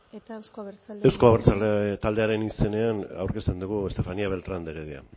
eta euzko abertzaleak taldea euzko abertzaleak taldearen izenean aurkezten dugu estefania beltrán de heredia